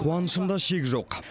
қуанышымда шек жоқ